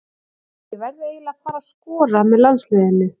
Ég verð eiginlega að fara að skora með landsliðinu.